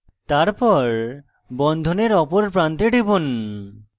তারপর বন্ধনের অপর প্রান্তে টিপুন